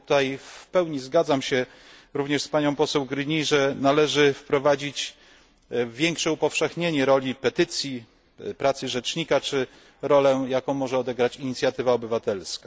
I tutaj w pełni zgadzam się również z panią poseł Gruny, że należy wprowadzić większe upowszechnienie roli petycji, pracy rzecznika, czy rolę, jaką może odegrać inicjatywa obywatelska.